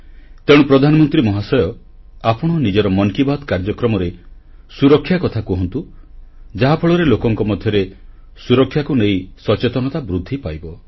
ତେଣୁ ପ୍ରଧାନମନ୍ତ୍ରୀ ମହାଶୟ ଆପଣ ନିଜର ମନ୍ କି ବାତ୍ କାର୍ଯ୍ୟକ୍ରମରେ ସୁରକ୍ଷା କଥା କହନ୍ତୁ ଯାହାଫଳରେ ଲୋକଙ୍କ ମଧ୍ୟରେ ସୁରକ୍ଷାକୁ ନେଇ ସଚେତନତା ବୃଦ୍ଧି ପାଇବ